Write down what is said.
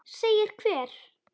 Segir hver?